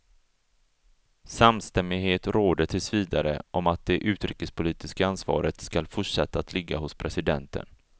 Samstämmighet råder tills vidare om att det utrikespolitiska ansvaret skall fortsätta att ligga hos presidenten.